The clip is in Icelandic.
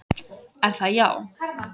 Er það já?